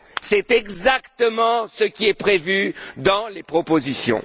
C'est exactement ce qui est prévu dans les propositions.